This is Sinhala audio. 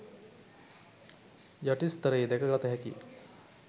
යටි ස්තරයේ දැක ගත හැකිය.